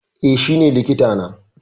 Eh shi ne likita na